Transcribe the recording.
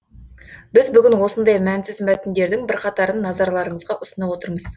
біз бүгін осындай мәнсіз мәтіндердің бірқатарын назарларыңызға ұсынып отырмыз